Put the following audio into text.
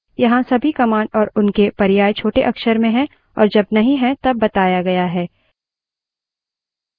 यहाँ सभी commands और उनके पर्याय छोटे अक्षर में हैं और जब नहीं है तब बताया गया है